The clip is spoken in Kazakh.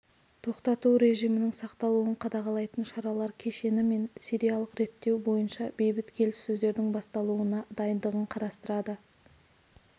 тоқтату режимінің сақталуын қадағалайтын шаралар кешені мен сириялық реттеу бойынша бейбіт келіссөздердің басталуына дайындығын қарастырады